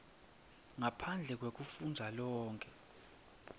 ngaphandle kwekufundza lonkhe